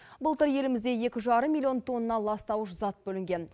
былтыр елімізде екі жарым милллион тонна ластауыш зат бөлінген